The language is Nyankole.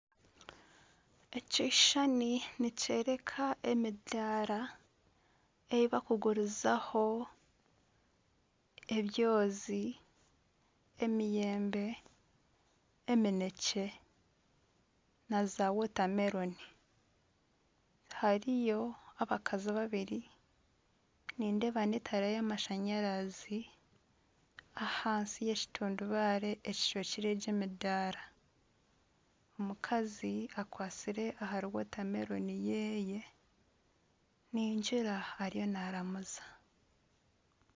Ekishushane nikyoreka emidaara ei barikugurizaho ebyozi, emiyembe, eminekye na zaawotameloni hariyo abakazi babiri nindeeba n'etaara y'amashanyarazi ahansi y'ekitundubaare ekishwekire egi emidaara, omukazi akwatsire aha wootameloni ye ningira ariyo naaramuza